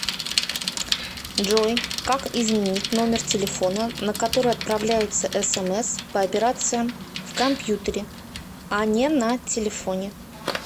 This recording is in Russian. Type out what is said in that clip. джой как изменить номер телефона на который отправляются смс по операциям в компьютере а не на телефоне